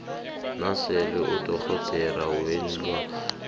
nasele udorhodera weenlwana